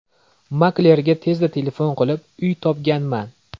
Maklerga tezda telefon qilib, uy topganman.